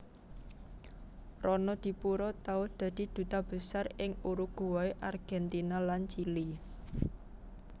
Ronodipuro tau dadi Duta Besar ing Uruguay Argentina lan Chili